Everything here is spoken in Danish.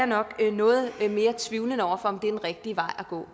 nok noget mere tvivlende over for om det er den rigtige vej at gå